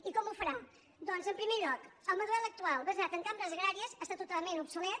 i com ho farà doncs en primer lloc el model actual basat en cambres agràries està totalment obsolet